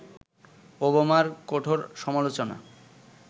ওবামার কঠোর সমালোচনা